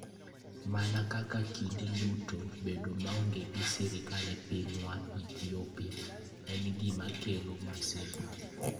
Mana kaka kinde duto, bedo maonge gi sirkal e pinywa (Ethiopia) en gima kelo masira.